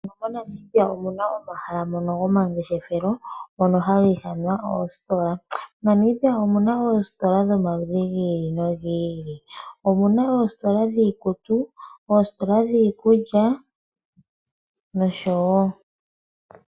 Monamibia omuna omahala ngono gwomangeshefelo ngono haga ithanwa kutya ositola. Monamibia omuna oositola dhomaludhi gi ili nogi ili omuna oositola dhikutu , ositola dhikulya nosho tuu.